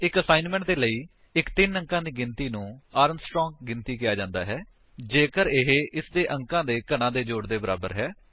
ਇੱਕ ਅਸਾਇਨਮੈਂਟ ਦੇ ਲਈ ਇੱਕ ਤਿੰਨ ਅੰਕਾਂ ਦੀ ਗਿਣਤੀ ਨੂੰ ਆਰਮਸਟਰਾਂਗ ਗਿਣਤੀ ਕਿਹਾ ਜਾਂਦਾ ਹੈ ਜੇਕਰ ਇਹ ਇਸਦੇ ਅੰਕਾਂ ਦੇ ਘਣਾਂ ਦੇ ਜੋੜ ਦੇ ਬਰਾਬਰ ਹੈ